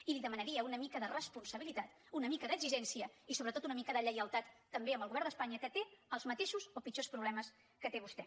i li demanaria una mica de responsabilitat una mica d’exigència i sobretot una mica de lleialtat també al govern d’espanya que té els mateixos o pitjors problemes que té vostè